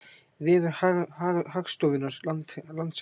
Vefur Hagstofunnar Landshagir